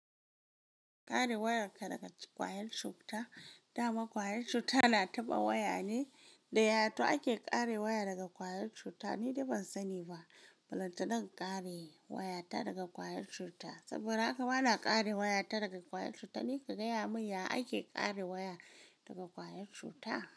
Ƙare wayarka daga ƙwayar cuta, dama ƙwayar cuta na taɓa waya ne, da ya too ake ƙare waya daga ƙwayar cuts? Ni dai ban sani ba. Bulantanan ƙare waya ta daga ƙwayar shuka, saboda haka bana ƙare waya ta daga ƙwayar cuta. Ni ka gaya mini ya ake ƙare waya daga ƙwayar cuta?